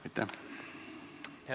Aitäh!